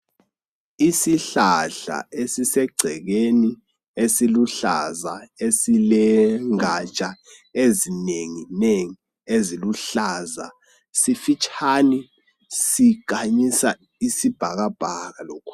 Isihlahla esisegcekeni esiluhlaza esilegatsha ezinenginengi eziluhlaza, sifitshane, sikhanyisa isibhakabhaka.